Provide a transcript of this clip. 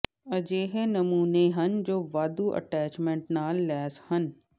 ਅਜਿਹੇ ਨਮੂਨੇ ਹਨ ਜੋ ਵਾਧੂ ਅਟੈਚਮੈਂਟ ਨਾਲ ਲੈਸ ਹਨ